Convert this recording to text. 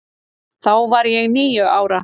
Þá var ég níu ára.